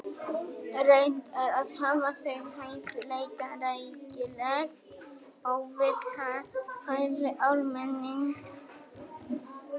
Reynt er að hafa þau hæfilega rækileg og við hæfi almennings.